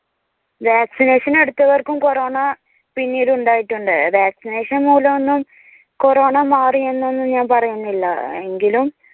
vaccination എടുത്തവർക്കും corona പിന്നീട് ഉണ്ടായിട്ടുണ്ട്. vaccination മൂലം ഒന്നും കൊറോണ മാറിയെന്ന് ഒന്നും ഞാൻ പറയുന്നില്ല എങ്കിലും